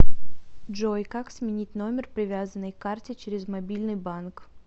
джой как сменить номер привязанный к карте через мобильный банк